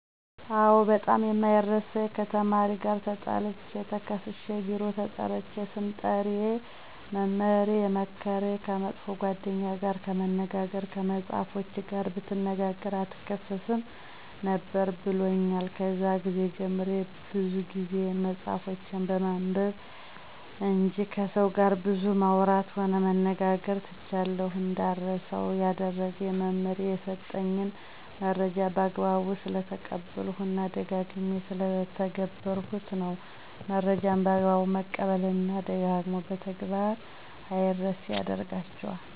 አዎ ! በጣም የማይረሳኝ ከተማሪ ጋር ተጣልቸ ተከሠስሸ ቢሮ ተጠርቸ ስምጠሪ መምህሬ የመከረኝ። ከመጥፎ ጓደኛ ጋር ከመነጋገር ከመፅሐፎችህ ጋር ብትነጋገ አትከሠስም ነበር ብሎኛል። ከዛን ግዜ ጀምሬ ብዙ ጊዜየን መፅሐፎችን በማንበብ እንጅ ከሠው ጋር ብዙ ማውራትም ሆነ መነጋገር ትቻለሁ። እንዳረሳው ያደረገኝ መምህሬ የሠጠኝን መረጃ በአግባቡ ስለተቀበልሁት እና ደጋግሜ ስለተገበርሁት ነው። መረጃን በአግባቡ መቀበል እና ደጋግሞ በተግበር አምረሴ ያደርጋቸዋል።